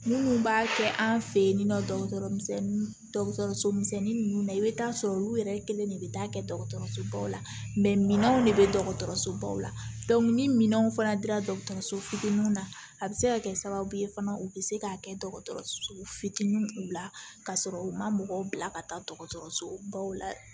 Minnu b'a kɛ an fɛ yen nɔ dɔgɔtɔrɔso misɛnnin ninnu na i bɛ taa sɔrɔ olu yɛrɛ kelen de bɛ taa kɛ dɔgɔtɔrɔso baw la minɛnw de bɛ dɔgɔtɔrɔsobaw la ni minɛnw fana dira dɔgɔtɔrɔso fitininw na a bɛ se ka kɛ sababu ye fana u bɛ se k'a kɛ dɔgɔtɔrɔso fitininw la ka sɔrɔ u ma mɔgɔw bila ka taa dɔgɔtɔrɔso baw la